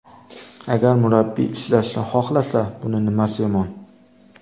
Agar murabbiy ishlashni xohlasa, buni nimasi yomon?